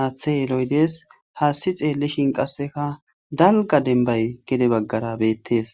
haaththe dees. Haassi xeellishin qassekka gede dalgga dembbay gede baggara beettes.